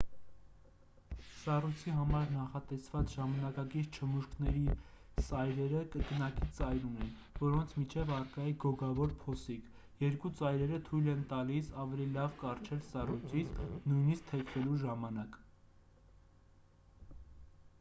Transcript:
սառույցի համար նախատեսված ժամանակակից չմուշկների սայրերը կրկնակի ծայր ունեն որոնց միջև առկա է գոգավոր փոսիկ երկու ծայրերը թույլ են տալիս ավելի լավ կառչել սառույցից նույնիսկ թեքվելու ժամանակ